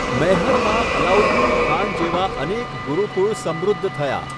મૈહરમાં અલાઉદ્દીન ખાન જેવા અનેક ગુરુકુળ સમૃદ્ધ થયા.